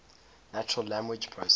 natural language processing